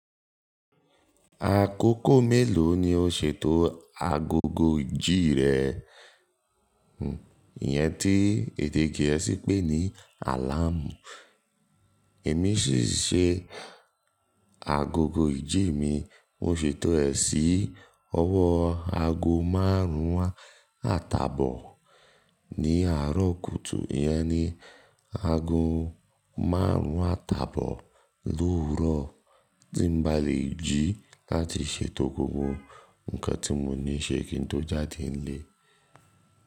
Àkókò mélòó ni o ṣètò agogo ìjí rẹ? Hmm, ìyẹn tí èdè gẹ̀ẹ́sì pé ní "alarm". Èmi sì ṣe agogo ìjí mi, mo ṣètò ẹ̀ sí ọwọ́ ago márùn-ún àtàbọ̀ ní àárọ̀ kùtù. Ìyẹn ni ago márùn-ún àtàbọ̀ l'owuro tí n ba lè jí láti ṣètò gbogbo nǹkan tí mo ní ṣe kí n tó jáde nílé.